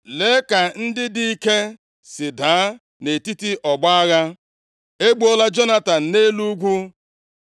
“Lee ka ndị dị ike si daa nʼetiti ọgbọ agha. E gbuola Jonatan nʼelu ugwu;